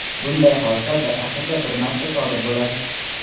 Bunday hodisa bir asrda bir marta sodir bo‘ladi.